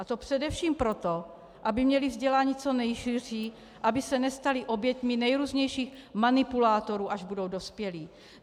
A to především proto, aby měly vzdělání co nejširší, aby se nestaly oběťmi nejrůznějších manipulátorů, až budou dospělí.